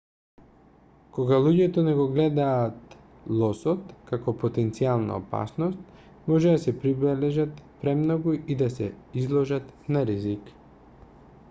кога луѓето не го гледаат лосот како потенцијална опасност може да се приближат премногу и да се изложат на ризик